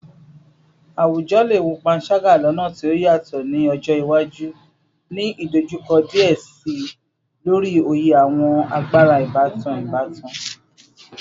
Awujọ le wo panṣaga lọna ti o yatọ ni ọjọ iwaju, ni idojukọ diẹ sii lori oye awọn agbara ibatan ibatan